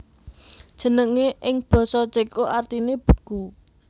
Jenengé ing basa Céko artiné beku